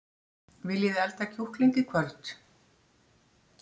Viljiði elda kjúkling í kvöld?